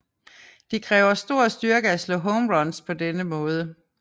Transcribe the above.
Det kræver stor styrke at slå home runs på denne måde